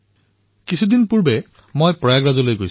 মই নিজে কিছুদিন পূৰ্বে প্ৰয়াগৰাজলৈ গৈছিলো